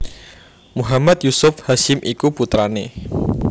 Muhammad Yusuf Hasyim iku putrané